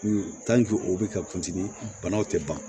o bɛ ka kunsigi banaw tɛ ban